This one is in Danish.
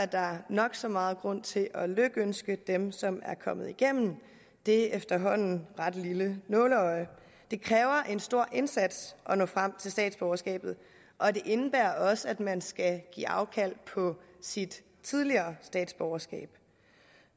der nok så meget grund til at lykønske dem som er kommet igennem det efterhånden ret lille nåleøje det kræver en stor indsats at nå frem til statsborgerskabet og det indebærer også at man skal give afkald på sit tidligere statsborgerskab